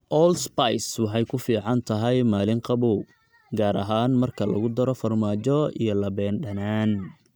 Allspice waxay ku fiican tahay maalin qabow, gaar ahaan marka lagu daro farmaajo iyo labeen dhanaan.